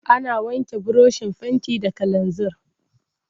Ana wanke burushin fenti da kalanzir.